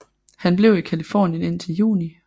Han blev i Californien indtil juni